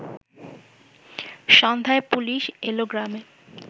সন্ধ্যায় পুলিশ এল গ্রামে